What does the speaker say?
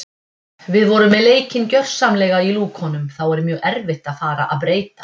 Við vorum með leikinn gjörsamlega í lúkunum þá er mjög erfitt að fara að breyta.